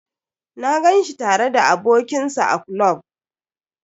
Na gan shi tare da abokin sa a klub.